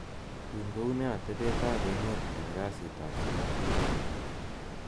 tun kounee atebet ab emeet en kasiit ab somok wigii ni